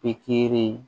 Pikiri